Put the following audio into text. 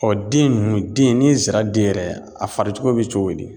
den ninnu den ni n sera den yɛrɛ a fari cogo bɛ cogo di.